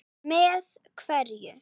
Með kveðju.